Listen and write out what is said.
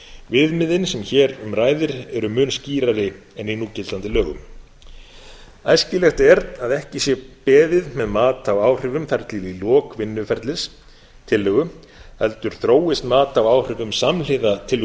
viðmiðin sem hér um ræðir á mun skýrari en í núgildandi lögum æskilegt er að ekki sé beðið með mat á áhrifum þar til í lok vinnsluferlis tillögu heldur þróist mat á áhrifum samhliða